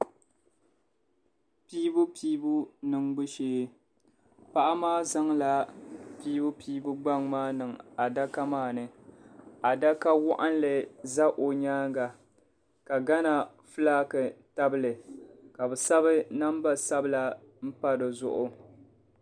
Piibupiibu niŋbu shee paɣa maa zaŋla piibupiibu gbaŋ maa niŋ adaka maa ni adaka waɣinli za o nyaaŋa ka Gana fulaaki tabi li ka bɛ sabi namba sabila m-pa di zuɣu.